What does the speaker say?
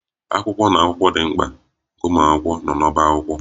Akwụkwọ na akwụkwọ akụkọ dị mkpa nke ụmụ akwụkwọ nọ n'ọbá akwụkwọ